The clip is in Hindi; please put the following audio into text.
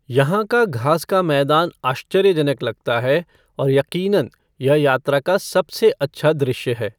यहाँ का घास का मैदान आश्चर्यजनक लगता है और यक़ीनन यह यात्रा का सबसे अच्छा दृश्य है।